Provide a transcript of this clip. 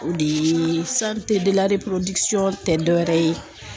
O de ye tɛ dɔ wɛrɛ ye